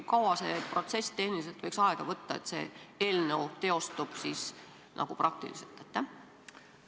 Kui kaua see protsess tehniliselt võiks aega võtta, et see eelnõu nagu praktiliselt teostuks?